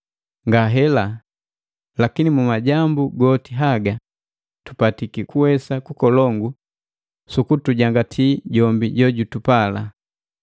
Ngahela, lakini mu majambu goti haga tupatiki kuwesa kukolongu sukutujangati jombi jojutupala.